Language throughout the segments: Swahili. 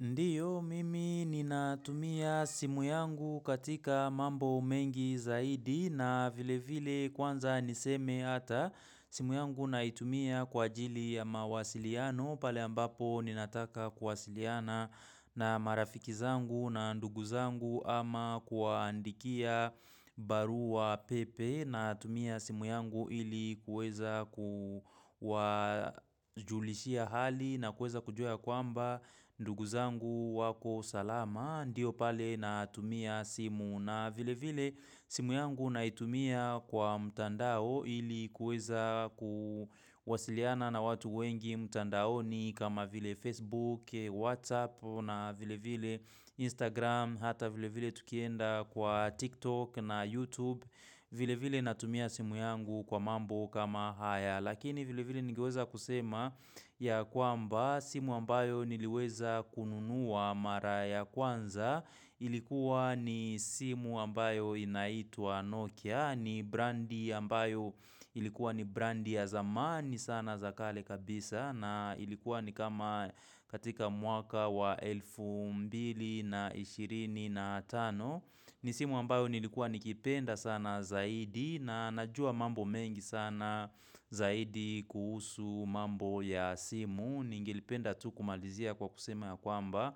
Ndio mimi ninatumia simu yangu katika mambo mengi zaidi na vile vile kwanza niseme hata simu yangu naitumia kwa ajili ya mawasiliano pale ambapo ninataka kuwasiliana na marafiki zangu na ndugu zangu ama kuwaandikia barua pepe. Natumia simu yangu ili kuweza kuwajulishia hali na kuweza kujua ya kwamba ndugu zangu wako salama. Ndio pale natumia simu na vile vile simu yangu naitumia kwa mtandao ili kuweza kuwasiliana na watu wengi mtandaoni. Kama vile Facebook, Whatsapp na vile vile Instagram hata vile vile tukienda kwa TikTok na YouTube. Vile vile natumia simu yangu kwa mambo kama haya lakini vile vile ningeweza kusema ya kwamba simu ambayo niliweza kununua mara ya kwanza. Ilikuwa ni simu ambayo inaitwa Nokia. Ni brandi ambayo ilikuwa ni brandi ya zamani sana za kale kabisa na ilikuwa ni kama katika mwaka wa elfu mbili na ishirini na tano na tano ni simu ambayo nilikuwa nikipenda sana zaidi na najua mambo mengi sana zaidi kuhusu mambo ya simu ningelipenda tu kumalizia kwa kusema ya kwamba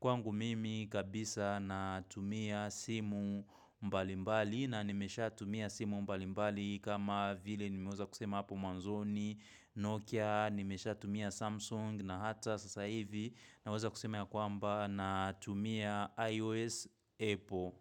kwangu mimi kabisa natumia simu mbalimbali na nimeshatumia simu mbalimbali kama vile nimeweza kusema hapo mwanzoni Nokia nimeshatumia Samsung na hata sasa hivi naweza kusema ya kwamba na tumia iOS Apple.